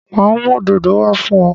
Ma mú òdòdó wá fún ọ